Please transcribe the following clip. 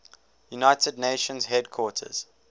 united nations headquarters